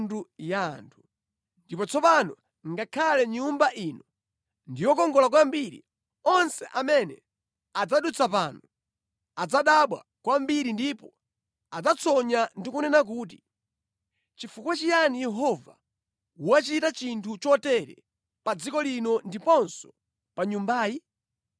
Ndipo ngakhale kuti tsopano Nyumba ya Mulunguyi ndi yokongola kwambiri, onse amene adzadutsa pano adzadabwa kwambiri ndipo adzatsonya ndipo adzati, ‘Nʼchifukwa chiyani Yehova wachita chinthu chotere mʼdziko muno ndi pa Nyumba ya Mulunguyi?’